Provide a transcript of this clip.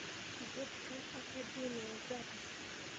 детская академия запись